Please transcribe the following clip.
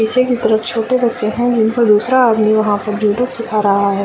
पीछे में कोई छोटे बच्चे है जिनको दूसरा आदमी जुडो सीखा रहा है।